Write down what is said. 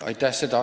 Aitäh!